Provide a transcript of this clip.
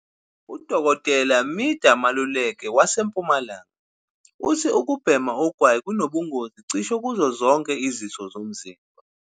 "UDkt Midah Maluleke waseMpumalanga uthi ukubhema ugwayi kunobungozi cishe kuzo zonke izitho zomzimba.